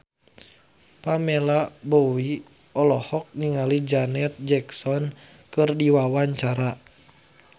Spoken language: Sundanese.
Pamela Bowie olohok ningali Janet Jackson keur diwawancara